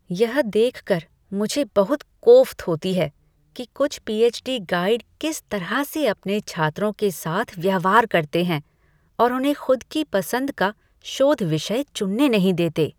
यह देख कर मुझे बहुत कोफ्त होती है कि कुछ पीएच. डी. गाइड किस तरह से अपने छात्रों के साथ व्यवहार करते हैं और उन्हें खुद की पसंद का शोध विषय चुनने नहीं देते।